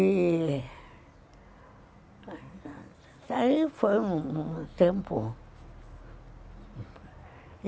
E... Aí foi um um tempo.